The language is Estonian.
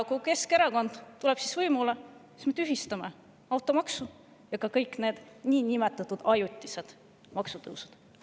Kui Keskerakond tuleb võimule, siis me tühistame automaksu ja kõik need niinimetatud ajutised maksutõusud.